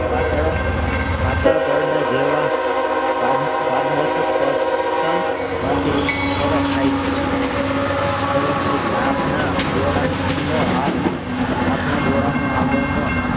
પાતળા પરદા જેવા પાર પારદર્શક circle માંથી પ્રવાસ થાય છે પ્રવેશ થાય છે. આપણા ડોળા નો આપ આપણા ડોળા નો આગળ નો